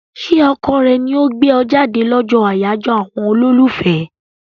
Ṣé ọkọ rẹ ni ó gbé ọ jáde lọ́jọ́ àyájọ́ àwọn olólùfẹ́?